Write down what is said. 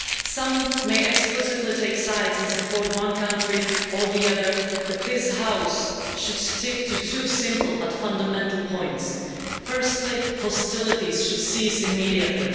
Some may explicitly take sides and support one country or the other, but this House should stick to two simple but fundamental points. Firstly, hostilities should cease immediately.